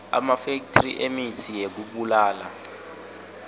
emafethri emitsi yekubulala